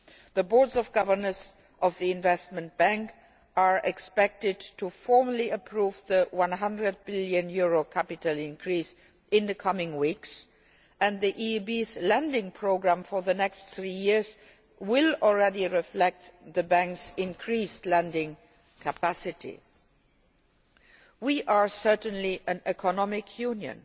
The Board of Governors of the Investment Bank is expected to formally approve the EUR 100 billion capital increase in the coming weeks, and the EIB's lending programme for the next three years will already reflect the Bank's increased lending capacity. We are certainly an economic union